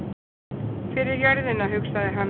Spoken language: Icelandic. Fyrir jörðina, hugsaði hann.